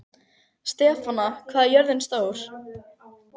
Stefana, hvað er jörðin stór?